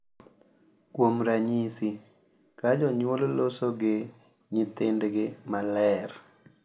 Kuom ranyisi, ka jonyuol loso gi nyithindgi maler .